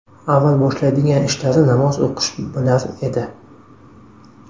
Avval boshlaydigan ishlari namoz o‘qish bo‘lar edi.